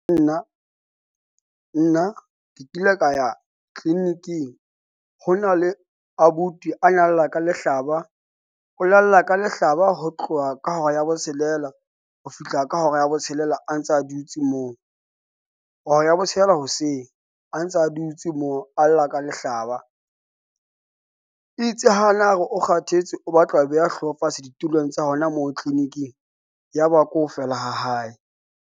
Nna, nna ke kile ka ya clinic-ing ho na le abuti a na lla ka lehlaba. O la lla ka lehlaba ho tloha ka hora ya botshelela ho fihla ka hora ya botshelela. A ntsa a dutse moo hora ya botshelela hoseng, a ntsa a dutse moo a lla ka lehlaba. Itse ha na re o kgathetse, o batla ho beha hlooho fatshe ditulong tsa hona moo clinic-ing. Ya ba ko feela ha hae.